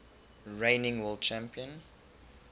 reigning world champion